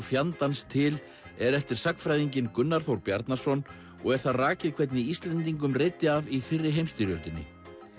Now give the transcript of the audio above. fjandans til er eftir sagnfræðinginn Gunnar Þór Bjarnason og er þar rakið hvernig Íslendingum reiddi af í fyrri heimsstyrjöldinni